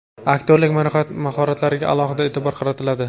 aktyorlik mahoratlariga alohida e’tibor qaratiladi.